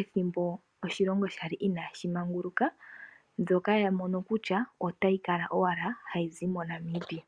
ethimbo oshilongo inashi manguluka ndjoka yamono kutya otayi kala hayizi moNamibia.